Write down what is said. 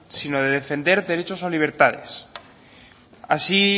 sino de defender derechos o libertades así